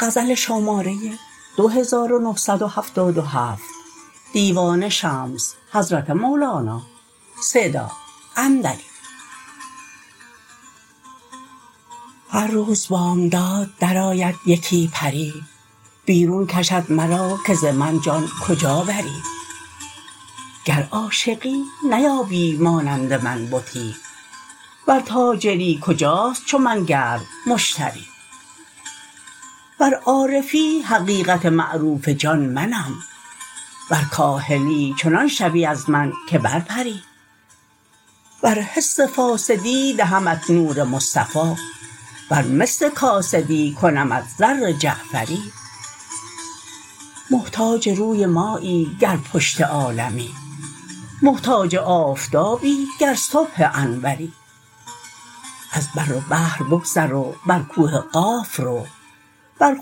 هر روز بامداد درآید یکی پری بیرون کشد مرا که ز من جان کجا بری گر عاشقی نیابی مانند من بتی ور تاجری کجاست چو من گرم مشتری ور عارفی حقیقت معروف جان منم ور کاهلی چنان شوی از من که برپری ور حس فاسدی دهمت نور مصطفی ور مس کاسدی کنمت زر جعفری محتاج روی مایی گر پشت عالمی محتاج آفتابی گر صبح انوری از بر و بحر بگذر و بر کوه قاف رو بر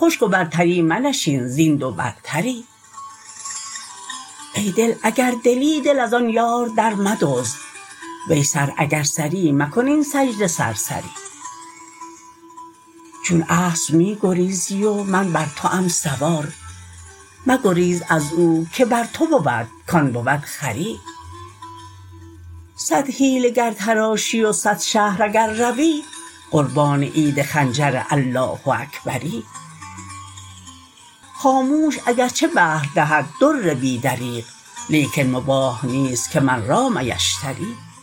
خشک و بر تری منشین زین دو برتری ای دل اگر دلی دل از آن یار درمدزد وی سر اگر سری مکن این سجده سرسری چون اسب می گریزی و من بر توام سوار مگریز از او که بر تو بود کان بود خری صد حیله گر تراشی و صد شهر اگر روی قربان عید خنجر الله اکبری خاموش اگر چه بحر دهد در بی دریغ لیکن مباح نیست که من رام یشتری